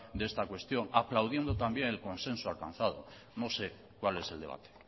de esta cuestión aplaudiendo también el consenso alcanzado no sé cuál es el debate